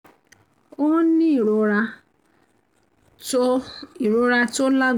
ó ń ní ìrora tó ìrora tó lá